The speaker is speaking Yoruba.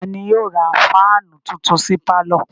Ta ni yóò ra fáánù tuntun sí pálọ̀?